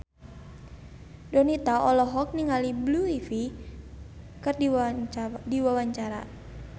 Donita olohok ningali Blue Ivy keur diwawancara